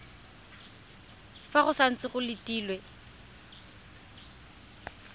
fa go santse go letilwe